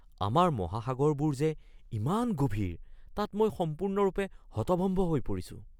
আমাৰ মহাসাগৰবোৰ যে ইমান গভীৰ তাত মই সম্পূৰ্ণৰূপে হতভম্ব হৈ পৰিছো!